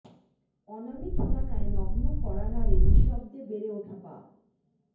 অনামি ঠিকানায় নগ্ন কড়া নাড়ে নিঃশব্দে বেড়ে উঠা পাপ